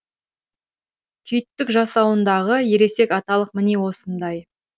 күйттік жасанудағы ересек аталық міне осындай